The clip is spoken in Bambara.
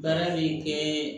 Baara min kɛ